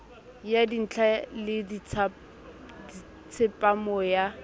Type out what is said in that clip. ya dintla le tsepamo ya